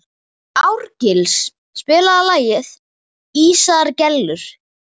Árgils, spilaðu lagið „Ísaðar Gellur“.